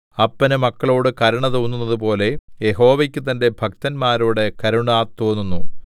അപ്പന് മക്കളോട് കരുണ തോന്നുന്നതുപോലെ യഹോവയ്ക്ക് തന്റെ ഭക്തന്മാരോട് കരുണ തോന്നുന്നു